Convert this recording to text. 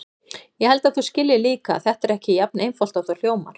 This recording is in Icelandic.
Ég held að þú skiljir líka að þetta er ekki jafn einfalt og það hljómar.